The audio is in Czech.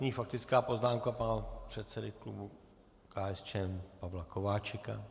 Nyní faktická poznámka pana předsedy klubu KSČM Pavla Kováčika.